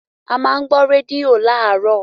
a má n gbọ́ rédíò láàárọ̀.